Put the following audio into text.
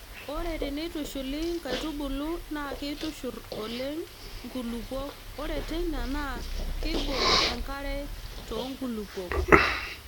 Ore teneitushuli nkaitubulu naa keitushurr oleng nkulupuok ore teina naa keibok enkare too nkulupuok.